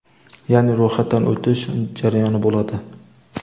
yaʼni ro‘yxatdan o‘tish jarayoni bo‘ladi.